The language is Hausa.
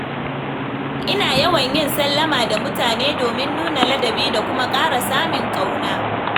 Ina yawan yin sallama da mutane domin nuna ladabi da kuma ƙara samin ƙauna.